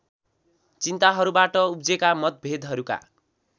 चिन्ताहरूबाट उब्जेका मतभेदहरूका